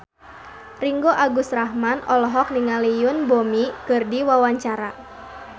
Ringgo Agus Rahman olohok ningali Yoon Bomi keur diwawancara